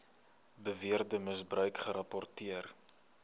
beweerde misbruik gerapporteer